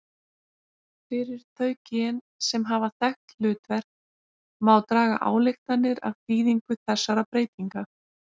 Fyrir þau gen sem hafa þekkt hlutverk má draga ályktanir af þýðingu þessara breytinga.